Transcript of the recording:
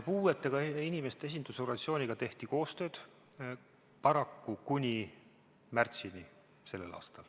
Puudega inimeste esindusorganisatsiooniga tehti koostööd, paraku kuni märtsini sellel aastal.